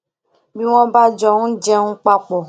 bí wón bá jọ n jẹun papọ